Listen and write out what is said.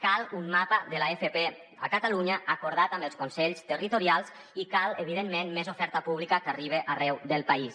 cal un mapa de l’fp a catalunya acordat amb els consells territorials i cal evidentment més oferta pública que arribi arreu del país